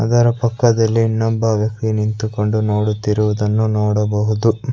ಅದರ ಪಕ್ಕದಲ್ಲಿ ಇನ್ನೊಬ್ಬ ವ್ಯಕ್ತಿ ನಿಂತುಕೊಂಡು ನೋಡುತ್ತಿರುವುದನ್ನು ನೋಡಬಹುದು.